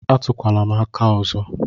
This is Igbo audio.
A túkwala m aka ọzọ!!